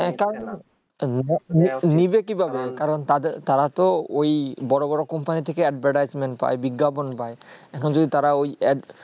হে তাও নিবে না নিবে কি ভাবে কারণ তাদের তারা তো ঐই বড় বড় company থেকে advertisment পায়ে বিজ্ঞাপন পায় এখন যদি তারা ওই